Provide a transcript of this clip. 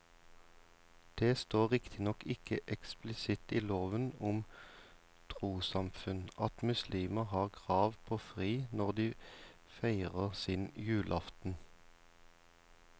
Det står riktignok ikke eksplisitt i loven om trossamfunn at muslimer har krav på fri når de feirer sin julaften.